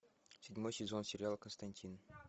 седьмой сезон сериала константин